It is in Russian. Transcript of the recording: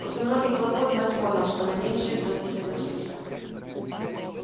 после многих хлопот мэтт понял что на меньшее тот не согласится